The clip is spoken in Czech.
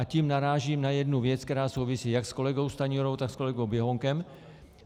A tím narážím na jednu věc, která souvisí jak s kolegou Stanjurou, tak s kolegou Běhounkem.